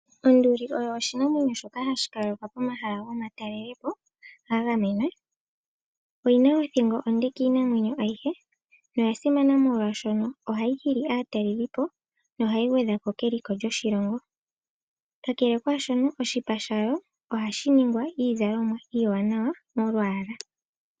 Onduli oshinamwenyo shoka hashi adhika pomahala gomatalelipo gagamenwa oyina othingo onde yi vule iinamwenyo ayihe ,oya simana molwashono ohayi nana aatalelipo noha yi gwedha ko keliko lyoshilongo kakele kaashono oshipa shayo ohashi ningi iizalomwa iiwanawa molwaala.